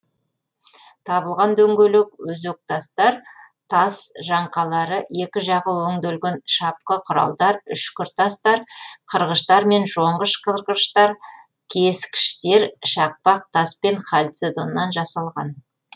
табылған дөңгелек өзектастар тас жаңқалары екі жағы өнделген шапқы құралдар үшкіртастар қырғыштар мен жонғыш қырғыштар кескіштер шақпақ тас пен халцедоннан жасалған